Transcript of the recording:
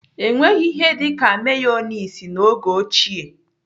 Enweghị ihe dịka meyoniz n'oge ochie.